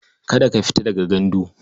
Kada ka fita daga gandu.